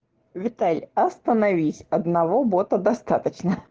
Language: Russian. виталь остановись одного бота достаточно